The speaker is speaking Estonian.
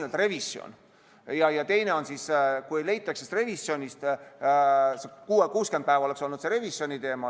Üks on see, et teha nn revisjon, 60 päeva oleks olnud see revisjoni teema.